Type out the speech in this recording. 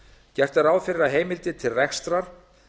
gert er ráð fyrir að heimildir til rekstrar